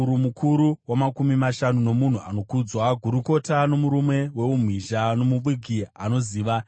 mukuru wamakumi mashanu nomunhu anokudzwa, gurukota nomurume weumhizha, nomuvuki anoziva.